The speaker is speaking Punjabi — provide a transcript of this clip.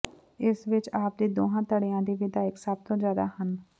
ਇਸ ਵਿਚ ਆਪ ਦੇ ਦੋਹਾਂ ਧੜਿਆਂ ਦੇ ਵਿਧਾਇਕ ਸਭ ਤੋਂ ਜ਼ਿਆਦਾ ਹਨ